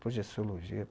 Projeciologia?